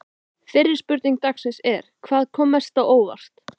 Fyrri spurning dagsins er: Hvað kom mest á óvart?